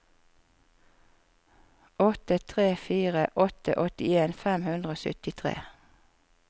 åtte tre fire åtte åttien fem hundre og syttitre